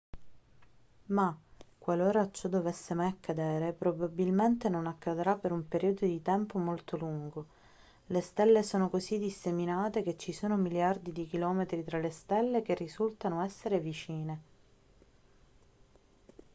ma qualora ciò dovesse mai accadere probabilmente non accadrà per un periodo di tempo molto lungo le stelle sono così disseminate che ci sono miliardi di chilometri tra le stelle che risultano essere vicine